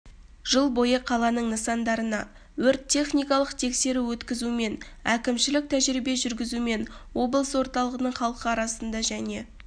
жыл бойы қаланың нысандарына өрт-техникалық тексеру өткізумен әкімшілік тәжірибе жүргізумен облыс орталығының халқы арасында және